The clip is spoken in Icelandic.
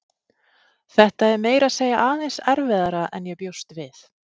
Þetta er meira segja aðeins erfiðara en ég bjóst við.